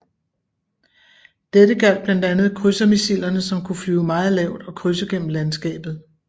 Dette gjaldt blandt andet krydsermissilerne som kunne flyve meget lavt og krydse gennem landskabet